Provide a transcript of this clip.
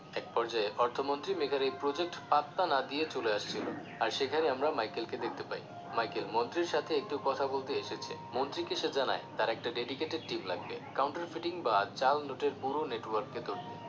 এক পর্যায়ে অর্থ মন্ত্রী মেঘার এই project পাত্তা না দিয়ে চলে আসছিলো আর সেখানে আমরা Michael কে দেখতে পাই Michael মন্ত্রীর সাথে একটু কথা বলতে এসেছে মন্ত্রীকে সে জানায় তাঁর একটা dedicated team লাগবে counter printing বা জাল নোটের পুরো Network কে ধরতে